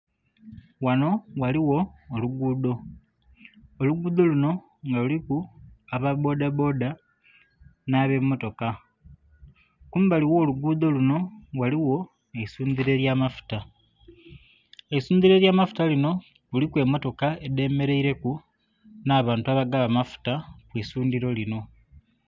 Ghanho ghaaligho olugudho, olugudho lunho nga kuliku aba bboda bboda nhe be motoka. Kumbali gho lugudho lunho eisundhiro elya maffuta. Eisumdhiro elya mafuta linho kuliku emotoka edhe mereire ku nha bantu abagaba amaffuta kwi sundhiro linho.